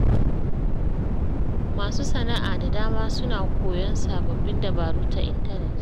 Masu sana’a da dama suna koyon sababbin dabaru ta intanet.